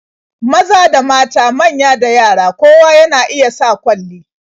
Maza da mata, manya da yara, kowa na iya sa kwalli.